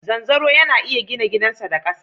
Zanzaro yana iya gina gidansa da ƙasa.